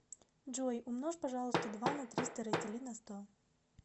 джой умножь пожалуйста два на триста раздели на сто